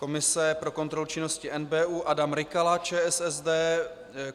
Komise pro kontrolu činnosti NBÚ - Adam Rykala, ČSSD.